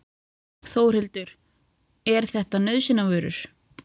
Þórhildur: Er þetta nauðsynjavörur?